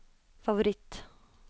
favoritt